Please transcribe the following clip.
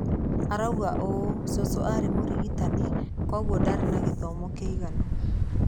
Arauga ũũ: "Cũcũ aarĩ mũrigitani, kwoguo ndarĩ na gĩthomo kĩiganu.